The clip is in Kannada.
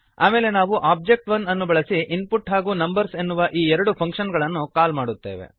ಆಮೇಲೆ ನಾವು ಓಬ್ಜೆಕ್ಟ್ ಒಬಿಜೆ1 ಅನ್ನು ಬಳಸಿ ಇನ್ಪುಟ್ ಹಾಗೂ ನಂಬರ್ಸ್ ಎನ್ನುವ ಈ ಎರಡು ಫಂಕ್ಶನ್ ಗಳನ್ನು ಕಾಲ್ ಮಾಡುತ್ತೇವೆ